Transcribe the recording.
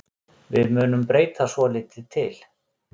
Við munum breyta svolítið til.